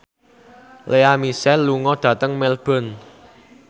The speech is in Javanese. Lea Michele lunga dhateng Melbourne